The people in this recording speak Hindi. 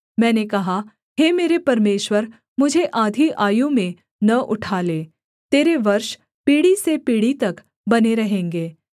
मैंने कहा हे मेरे परमेश्वर मुझे आधी आयु में न उठा ले तेरे वर्ष पीढ़ी से पीढ़ी तक बने रहेंगे